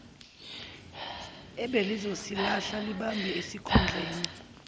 ebelizosihlala libambe isikhundleni